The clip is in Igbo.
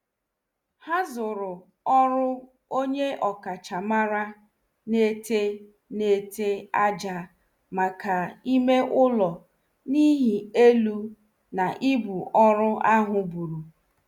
Ha zuru ọrụ onye ọkachamara n' ete n' ete àjà maka ime ụlọ n' ihi elu na ibu ọrụ ahụ buru.